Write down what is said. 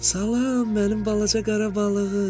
Salam, mənim balaca qara balığım!